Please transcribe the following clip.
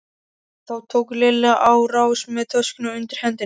Þá tók Lilla á rás með töskuna undir hendinni.